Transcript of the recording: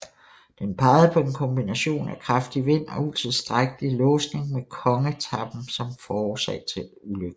Den pegede på en kombination af kraftig vind og utilstrækkelig låsning med kongetappen som årsag til ulykken